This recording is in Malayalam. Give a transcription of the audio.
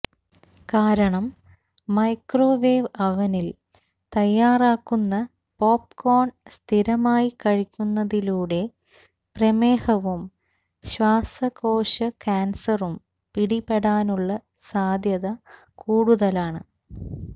കാരണം മൈക്രോവേവ് അവ്നിൽ തയാറാക്കുന്ന പോപ്കോണ് സ്ഥിരമായി കഴിക്കുന്നതിലൂടെ പ്രമേഹവും ശ്വാസകോശ കാൻസറും പിടിപെടാനുള്ള സാധ്യത കൂടുതലാണ്